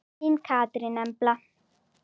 Þín Katrín Embla.